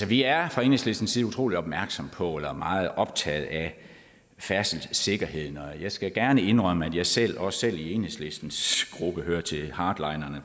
vi er fra enhedslistens side utrolig opmærksom på eller meget optaget af færdselssikkerheden og jeg skal gerne indrømme at jeg selv også i enhedslistens gruppe hører til hardlinerne